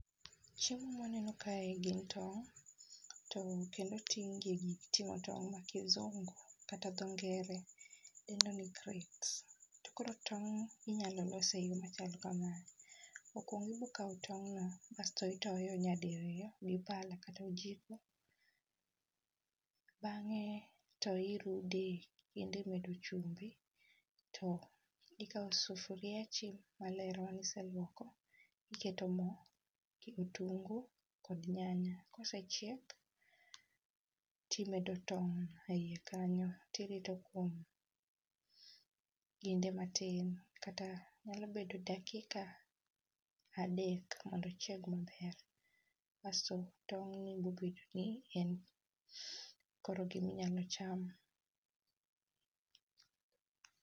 Chiemo ma waneno kaegi gin tong' kendo oting' gi e gik ting'o tong' mar kisungu kata dho ngere dendo ni kret. To koro tong' inyalo los eyo machalo kamae, okuongo ibiro kao tong'no kaeto itoyo nyadiriyo gi pala kata ojiko bang'e to irude kato iketo chumbi kaeto to ikawo sufuria maler mane iseluoko iketo mo kitungu kod nyanya kosechiek to imedo tong' eiye kanyo to irito kinde matin, nyalo bedo dakika adek mondo ochieg maber. Kasto tong' ni wuok ni en gima inyalo cham.